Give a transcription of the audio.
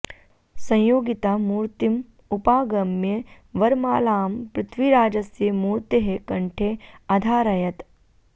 संयोगिता मूर्तिम् उपागम्य वरमालां पृथ्वीराजस्य मूर्तेः कण्ठे अधारयत्